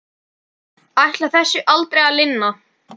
Ætlar þessu aldrei að linna?